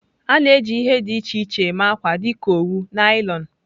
A na-eji ihe dị iche iche eme akwa dịka owu, naịlọn.